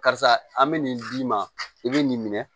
Karisa an bɛ nin d'i ma i bɛ nin minɛ